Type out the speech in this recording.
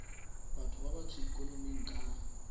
batho ba batsho ikonoming ka